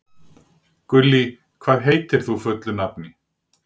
Gullý, hvað heitir þú fullu nafni?